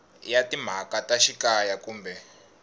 ya timhaka ta xikaya kumbe